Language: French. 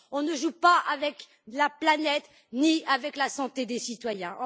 On ne joue pas avec la planète, ni avec la santé des citoyens.